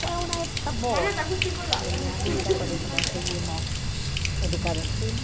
Foi uma boa época da minha vida, com isso conseguimos educar os filhos.